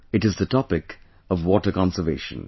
It is the topic of water conservation